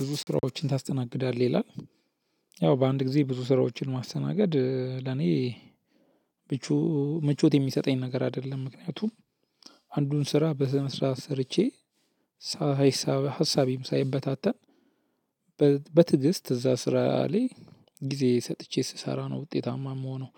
ብዙ ስራዎችን ታስተናግዳለህ ይላል። ያው በአንድ ጊዜ ብዙ ስራዎችን ማስተናገድ ለኔ ቹም ምቾት የሚሰጠኝ ነገር አይደለም። ምክንያቱም አንዱን ስራ በስነስርዓት ሰርቼ ሀሳቤም ሳይበታተን በትዕግሥት እዛ ስራ ላይ ጊዜ ሰጥቼ ስሰራ ነው ውጤታማ የምሆነው።